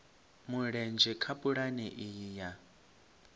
mulenzhe kha pulane iyi ya